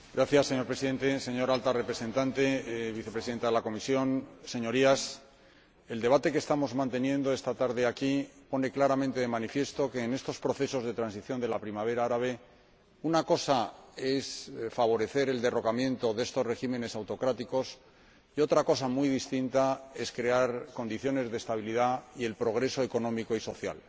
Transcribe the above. Señor Presidente, señora Alta Representante y Vicepresidenta de la Comisión, Señorías, el debate que estamos manteniendo esta tarde aquí pone claramente de manifiesto que, en estos procesos de transición de la Primavera árabe, una cosa es favorecer el derrocamiento de estos regímenes autocráticos y otra cosa muy distinta es crear condiciones de estabilidad y progreso económico y social.